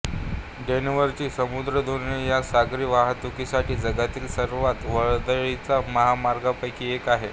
डोव्हरची सामुद्रधुनी हा सागरी वाहातुकीसाठी जगातील सर्वात वर्दळीच्या मार्गांपैकी एक आहे